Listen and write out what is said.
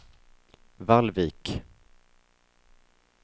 Vallvik